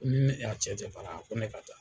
a cɛ tɛ baara la ko ne ka